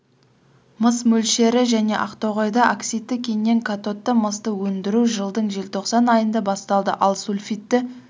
мыс мөлшері және ақтоғайда оксидті кеннен катодты мысты өндіру жылдың желтоқсан айында басталды ал сульфидті